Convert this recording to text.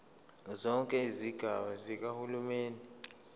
zonke izigaba zikahulumeni